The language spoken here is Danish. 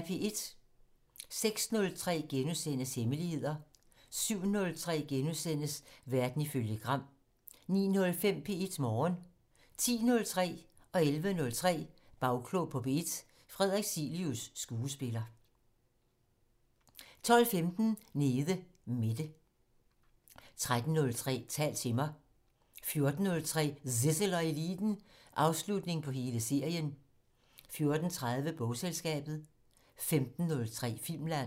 06:03: Hemmeligheder * 07:03: Verden ifølge Gram * 09:05: P1 Morgen 10:03: Bagklog på P1: Frederik Cilius, skuespiller 11:03: Bagklog på P1: Frederik Cilius, skuespiller 12:15: Nede Mette 13:03: Tal til mig 14:03: Zissel og Eliten: Afslutning på hele serien 14:30: Bogselskabet 15:03: Filmland